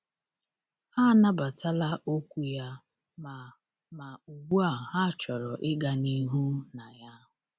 Ha anabatala okwu ya, ma ma ugbu a ha chọrọ ịga n’ihu na ya.